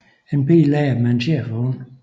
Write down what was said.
En pige leger med en schæferhund